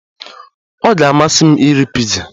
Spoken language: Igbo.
Ọ ga-amasị m iri piza